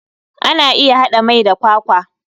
Ana iya hada mai da kwakwa.